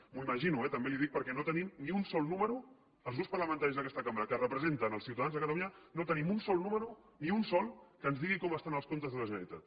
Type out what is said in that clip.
m’ho imagino eh també li ho dic perquè no tenim ni un sol número els grups parlamentaris d’aquesta cambra que representen els ciutadans de catalunya no tenim un sol número ni un de sol que ens digui com estan els comptes de la generalitat